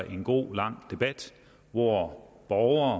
en god lang debat hvor borgere